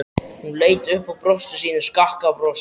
Hún leit upp og brosti sínu skakka brosi.